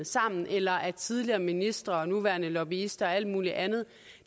sammen eller at tidligere ministre og nuværende lobbyister og alt muligt andet